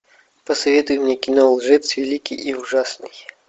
посоветуй мне кино лжец великий и ужасный